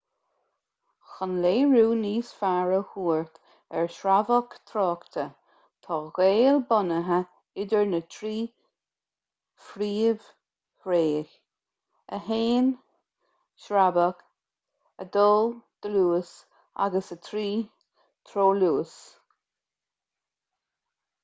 chun léiriú níos fearr a thabhairt ar shreabhadh tráchta tá gaol bunaithe idir na trí phríomhthréith: 1 sreabhadh 2 dlús agus 3 treoluas